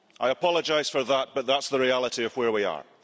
I apologise for that, but that's the reality of where we are.